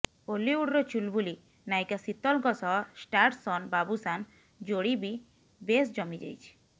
ଓଲିଉଡ଼ର ଚୁଲୁବୁଲି ନାୟିକା ଶୀତଲଙ୍କ ସହ ଷ୍ଟାରସନ୍ ବାବୁସାନ୍ ଯୋଡ଼ି ବି ବେଶ୍ ଜମିଯାଇଛି